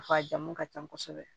a jamu ka can kosɛbɛ